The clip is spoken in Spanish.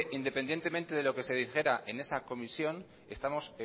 independientemente de lo que se dijera en esa comisión estamos